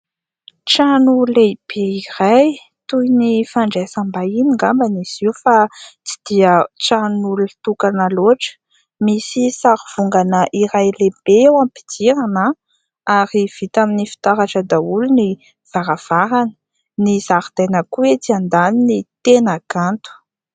Trano lehibe iray toy ny fandraisam-bahiny ngambany izy io fa tsy dia tranon'olon-tokana loatra. Misy sary vongana iray lehibe eo ampidirana ary vita amin'ny fitaratra daholo ny varavarany ny zaridaina koa etsy andaniny tena kanto.